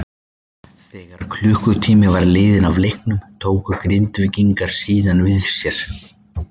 Þegar um klukkutími var liðinn af leiknum tóku Grindvíkingar síðan við sér.